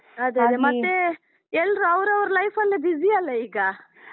ಅದೆ ಅದೆ, ಮತ್ತೇ ಎಲ್ರೂ ಅವರವರ life ಅಲ್ಲಿ busy ಅಲ್ಲ ಈಗ?